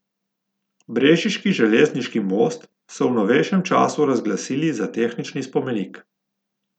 Brežiški železni most so v novejšem času razglasili za tehnični spomenik.